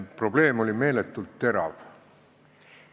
Probleem oli meeletult terav.